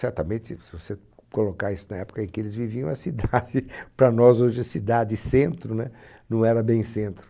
Certamente, se você colocar isso na época em que eles viviam, é cidade, para nós hoje é cidade-centro, né? Não era bem centro.